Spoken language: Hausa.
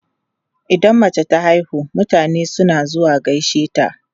Idan mace ta haihu, mutane suna zuwa gaishe ta.